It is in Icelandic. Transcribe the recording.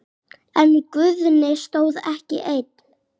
En Guðni stóð ekki einn.